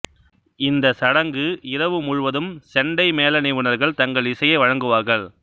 இந்த சடங்கு இரவு முழுவதும் செண்டை மேள நிபுணர்கள் தங்கள் இசையை வழங்குவார்கள்